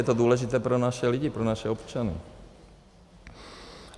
Je to důležité pro naše lidi, pro naše občany.